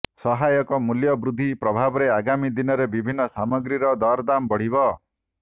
ସହାୟକ ମୂଲ୍ୟ ବୃଦ୍ଧି ପ୍ରଭାବରେ ଆଗାମୀ ଦିନରେ ବିଭିନ୍ନ ସାମଗ୍ରୀର ଦରଦାମ ବଢ଼ିବ